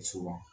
So ma